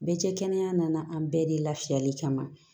Bɛɛ cɛ kɛnɛya nana an bɛɛ de lafiyali kama